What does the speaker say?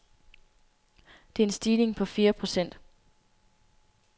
Det er en stigning på fire procent.